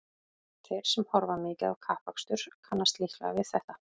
Þeir sem horfa mikið á kappakstur kannast líklega við þetta.